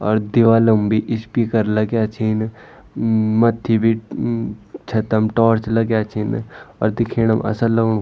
और दीवाल म भी स्पीकर लग्याँ छीन म-म मत्थी भी म-म छतम टार्च लग्याँ छिन अर दिखेणम असल लगणु।